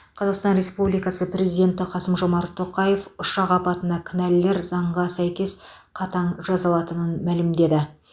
қазасқтан республикасы президенті қасым жомарт тоқаев ұшақ апатына кінәлілер заңға сәйкес қатаң жазаланатынын мәлімдеді